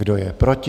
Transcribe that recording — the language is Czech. Kdo je proti?